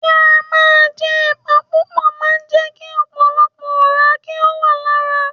Kí á máa jẹ ẹ̀pà púpò máa ń jẹ́ kí ọ̀pọ̀lọpọ̀ ọ̀rá kí ó wà lára.